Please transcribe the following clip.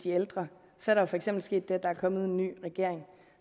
de ældre er der for eksempel sket det at der er kommet en ny regering